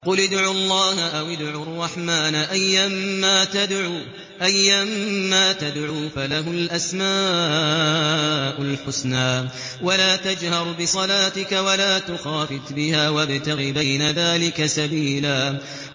قُلِ ادْعُوا اللَّهَ أَوِ ادْعُوا الرَّحْمَٰنَ ۖ أَيًّا مَّا تَدْعُوا فَلَهُ الْأَسْمَاءُ الْحُسْنَىٰ ۚ وَلَا تَجْهَرْ بِصَلَاتِكَ وَلَا تُخَافِتْ بِهَا وَابْتَغِ بَيْنَ ذَٰلِكَ سَبِيلًا